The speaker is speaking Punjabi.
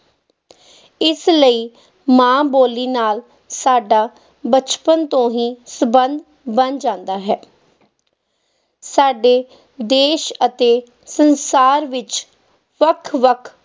ਇਸ ਲਈ ਮਾਂ ਬੋਲੀ ਨਾਲ ਸਾਡਾ ਬਚਪਨ ਤੋਂ ਹੀ ਸੰਬੰਧ ਬਣ ਜਾਂਦਾ ਹੈ ਸਾਡੇ ਦੇਸ ਅਤੇ ਸੰਸਾਰ ਵਿੱਚ ਵੱਖ ਵੱਖ